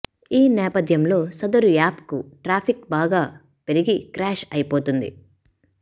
ఈ నేపథ్యంలో సదరు యాప్కు ట్రాఫిక్ బాగా పెరిగి క్రాష్ అయిపోతుంది